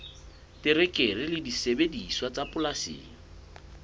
terekere le disebediswa tsa polasing